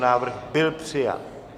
Návrh byl přijat.